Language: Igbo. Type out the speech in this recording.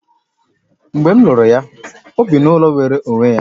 Mgbe m lụrụ ya, o bi n'ụlọ nwere onwe ya